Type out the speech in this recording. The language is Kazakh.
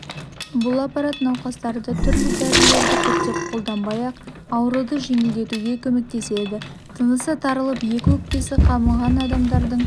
бұл аппарат науқастарды түрлі дәрілерді көптеп қолданбай-ақ ауруды жеңілдетуге көмектеседі тынысы тарылып екі өкпесі қабынған адамдардың